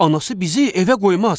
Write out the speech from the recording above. Anası bizi evə qoymaz.